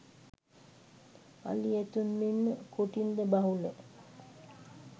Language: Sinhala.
අලි ඇතුන් මෙන්ම කොටින්ද බහුල